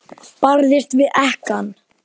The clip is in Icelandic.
Barðist við ekkann.